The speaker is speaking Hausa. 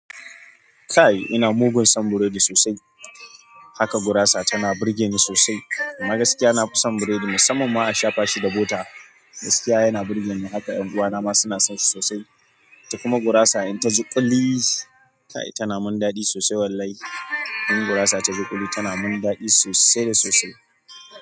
Kai ina mugun son burodi sosai, haka gurasa tana burge ni sosai. Amma gaskiya na fison burodi musamman ma a shafa shi da bota. Gaskiya yana burge ni haka, 'yan uwa na ma suna son shi sosai. Kuma gurasa in ta ji ƙuli tana min daɗi sosai wallahi. In gurasa ta ji ƙuli tana min daɗi sosai da sosai.